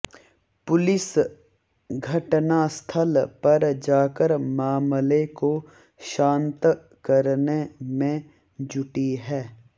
police घटनास्थल पर जाकर मामले को शांत करने में जुटी है